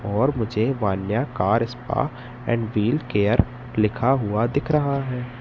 और मुझे Vanya car spa and wheel care लिखा हुआ दिख रहा हैं।